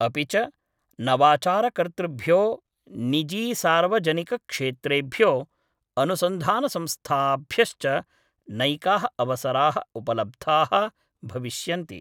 अपि च, नवाचारकर्तृभ्यो, निजीसार्वजनिकक्षेत्रेभ्यो, अनुसन्धानसंस्थाभ्यश्च नैकाः अवसराः उपलब्धाः भविष्यन्ति।